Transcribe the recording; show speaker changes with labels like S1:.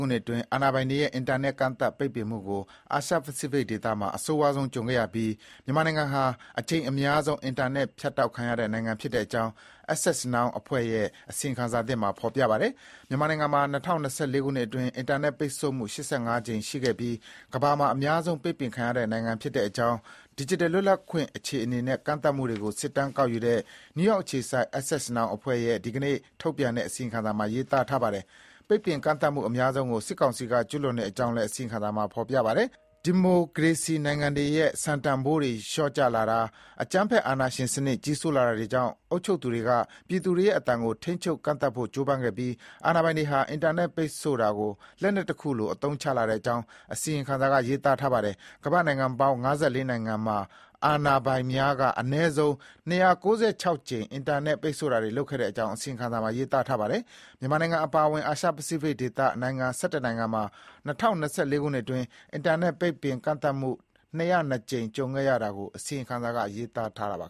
S1: ခုနှစ်အတွင်း အာဏာပိုင်တွေရဲ့ အင်တာနက်ကန့်သတ်ပိတ်ပင်မှုကို အာရှပစိဖိတ်ဒေသမှာ အဆိုးဝါးဆုံးကြုံခဲ့ရပြီး မြန်မာနိုင်ငံဟာ အကြိမ်အများဆုံး အင်တာနက်ဖြတ်တောက်ခံရတဲ့ နိုင်ငံဖြစ်ကြောင်း Access Now အဖွဲ့ရဲ့ အစီရင်ခံစာသစ်မှာ ဖေါ်ပြပါတယ်။ မြန်မာနိုင်ငံမှာ ၂၀၂၄ ခုနှစ်အတွင်း အင်တာနက်ပိတ်ဆို့မှု ၈၅ ကြိမ် ရှိခဲ့ပြီး ကမ္ဘာမှာ အများဆုံးပိတ်ပင်ခံရတဲ့ နိုင်ငံဖြစ်တဲ့အကြောင်း ဒီဂျစ်တယ်လွတ်လပ်ခွင့်အခြေအနေနဲ့ ကန့်သတ်မှုတွေကို စစ်တမ်းကောက်ယူတဲ့ နယူးယောက်အခြေစိုက် Access Now အဖွဲ့ရဲ့ ဒီကနေ့ ထုတ်ပြန်တဲ့ အစီရင်ခံစာမှာ ရေးသားထားပါတယ်။ ပိတ်ပင်ကန့်သတ်မှု အများဆုံးကို စစ်ကောင်စီက ကျူးလွန်တဲ့အကြောင်းလည်း အစီရင်ခံစာမှာ ဖေါ်ပြထားပါတယ်။ ဒီမိုကရေစီနိုင်ငံတွေရဲ့ စံတန်ဖိုးတွေ လျော့ကျလာတာ၊ အကြမ်းဖက်အာဏာရှင်စနစ် ကြီးစိုးလာတာတွေကြောင့် အုပ်ချုပ်သူတွေက ပြည်သူတွေရဲ့ အသံကို ထိန်းချုပ် ကန့်သတ်ဖို့ ကြိုးပမ်းခဲ့ပြီး အာဏာပိုင်တွေဟာ အင်တာနက် ပိတ်ဆို့တာကို လက်နက်တခုလို အသုံးချလာခဲ့ကြောင်း အစီရင်ခံစာက ရေးသားထားပါတယ်။ ကမ္ဘာ့နိုင်ငံပေါင်း ၅၄ နိုင်ငံမှာ အာဏာပိုင်တွေက အနည်းဆုံး ၂၉၆ ကြိမ် အင်တာနက်ပိတ်ဆို့တာလုပ်ခဲ့ကြောင်း အစီရင်ခံစာမှာ ရေးသားထားပါတယ်။ မြန်မာနိုင်ငံအပါအဝင် အာရှပစိဖိတ်ဒေသ နိုင်ငံ ၁၁ နိုင်ငံ မှာ ၂၀၂၄ ခုနှစ် အတွင်း အင်တာနက်ပိတ်ပင်ကန့်သတ်မှု ၂၀၂ ကြိမ် ကြုံခဲ့ရတာကို အစီရင်ခံစာက ရေးသားထားပါ